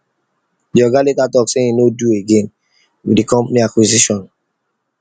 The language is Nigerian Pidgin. the oga later talk say him no do again with the company acquisition